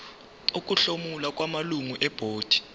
ukuhlomula kwamalungu ebhodi